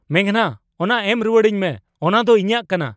ᱢᱮᱜᱷᱱᱟ, ᱚᱱᱟ ᱮᱢ ᱨᱩᱣᱟᱹᱲᱟᱹᱧ ᱢᱮ ᱾ ᱚᱱᱟ ᱫᱚ ᱤᱧᱟᱜ ᱠᱟᱱᱟ !